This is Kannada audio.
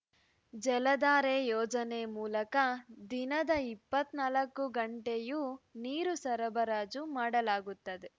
ಜಲಧಾರೆ ಯೋಜನೆ ಮೂಲಕ ದಿನದ ಇಪ್ಪತ್ತ್ ನಾಲ್ಕು ಗಂಟೆಯೂ ನೀರು ಸರಬರಾಜು ಮಾಡಲಾಗುತ್ತದೆ